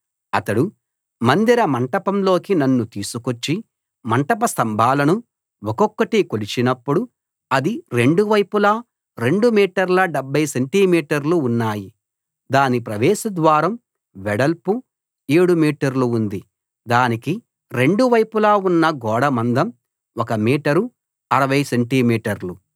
అతడు మందిర మంటపంలోకి నన్ను తీసుకొచ్చి మంటప స్తంభాలను ఒక్కొక్కటీ కొలిచినప్పుడు అది రెండు వైపులా 2 మీటర్ల 70 సెంటి మీటర్లు ఉన్నాయి దాని ప్రవేశ ద్వారం వెడల్పు 7 మీటర్లు ఉంది దానికి రెండు వైపులా ఉన్న గోడ మందం 1 మీటర్ 60 సెంటి మీటర్లు